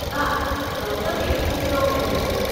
હા, ગૌતમે કુરતો પહેર્યો છે.